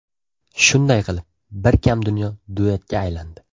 Shunday qilib ‘Bir kam dunyo‘ duetga aylandi.